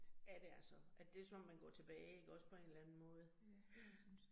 Ja det er så, at det som om man går tilbage ikke også på en eller anden måde ja